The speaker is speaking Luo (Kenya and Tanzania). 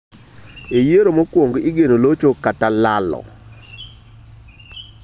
E yiero mokwongo, igeno locho kata lalo.